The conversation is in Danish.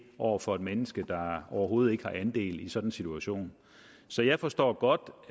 over for et menneske der overhovedet ikke har andel i sådan en situation så jeg forstår godt